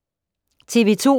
TV 2